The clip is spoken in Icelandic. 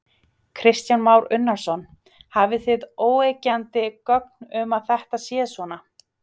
Kristján Már Unnarsson: Hafið þið óyggjandi gögn um að þetta sé svona?